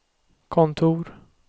kontor